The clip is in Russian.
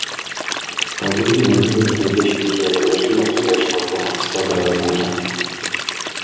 на удивление механизм приводящий в движение заграждение отрезающий платформу от эскалатора работал